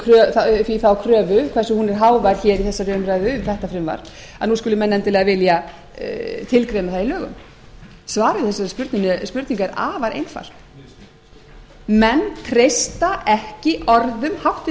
kröfu þar sem hún er hávær hér í þessari umræðu um þetta frumvarp að nú skuli menn endilega vilja tilgreina það í lögum svarið við þessari spurningu er afar einfalt menn treysta ekki orðum háttvirts